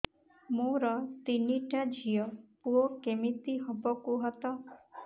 ମୋର ତିନିଟା ଝିଅ ପୁଅ କେମିତି ହବ କୁହତ